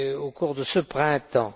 au cours de ce printemps.